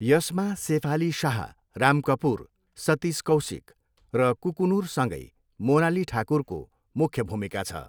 यसमा सेफाली शाह, राम कपुर, सतिस कौसिक र कुकुनुरसँगै मोनाली ठाकुरको मुख्य भूमिका छ।